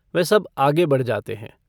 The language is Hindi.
वह सब आगे बढ़ जाते हैं।